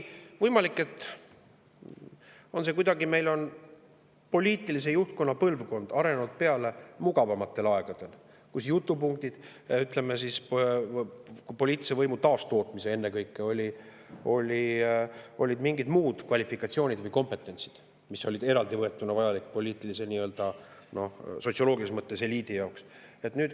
Võimalik, et meie poliitilise juhtkonna põlvkond on arenenud mugavamatel aegadel, kui jutupunktideks, ütleme, poliitilise võimu taastootmisel olid ennekõike mingid muud kvalifikatsioonid või kompetentsid, mis olid eraldivõetuna vajalikud poliitilises, sotsioloogilises mõttes eliidi jaoks.